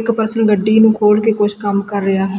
ਇੱਕ ਪਰਸਨ ਗੱਡੀ ਨੂੰ ਖੋਲ ਕੇ ਕੁਝ ਕੰਮ ਕਰ ਰਿਹਾ।